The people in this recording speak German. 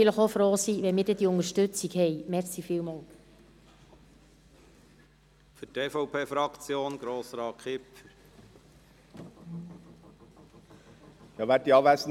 Vielleicht sind wir selber auch einmal froh, diese Unterstützung zu haben.